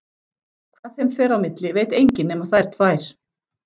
Hvað þeim fer á milli veit enginn nema þær tvær.